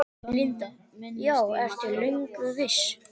Linda: Já, ertu löngu viss?